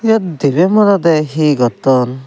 eyot deba moroda he gotton.